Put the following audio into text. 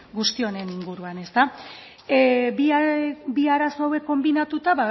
guzti honen inguruan ezta bi arazo hauek konbinatuta